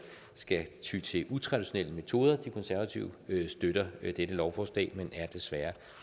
skal ty til utraditionelle metoder de konservative støtter dette lovforslag men er desværre